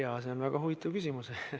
Jaa, see on väga huvitav küsimus.